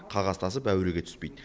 қағаз тасып әуреге түспейді